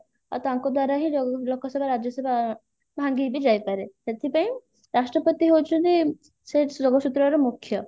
ଆଉ ତାଙ୍କ ଦ୍ଵାରା ହିଁ ଲୋ ଲୋକସଭା ରାଜ୍ୟସଭା ଭାଙ୍ଗିବି ଯାଇପାରେ ସେଥିପାଇଁ ରାଷ୍ଟ୍ରପତି ହଉଛନ୍ତି ସେ ଯୋଗସୂତ୍ର ର ମୁଖ୍ୟ